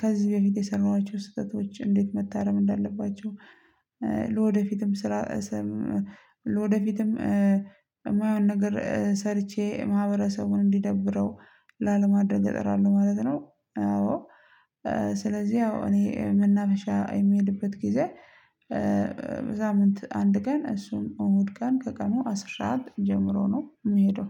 ከዚህ በፊት የሰራኋቸው ስህተቶች እንዴት መታረም እንዳለባቸው፤ ለወደፊትም የማይሆን ነገር ሰርቼ ማህበረሰቡን እንዲደብረው ላለማዳግ እጥራለሁ ማለት ነው። አዎ ስለዚህ ያው እኔ መናፈሻ የምሄድበት ጊዜ በሳምንት አንድ ቀን እሱም እሁድ ቀን ከቀኑ አስራ ሰዓት ጀምሮ ነው የምሄደው።